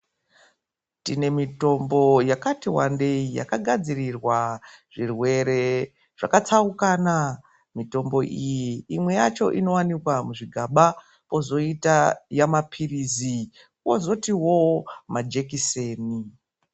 Tine mitombo yakati vandei yakagadzirirwa zvirwere zvakatsaukana. Mitombo iyi imwe yacho inovanikwa muzvigaba kozoita yamaphirizi kozotivo majekiseni.